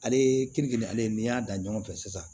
Ale ye keninge ale ye n'i y'a dan ɲɔgɔn fɛ sisan